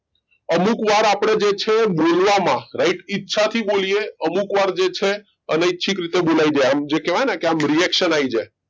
અમુક વાર આપણે જે છે બોલવામાં right ઈચ્છાથી બોલીએ અમુક વાર જે છે અનૈચ્છિક રીતે બોલાઈ જાય જે કહેવાય ને કે આમ reaction આવી જાય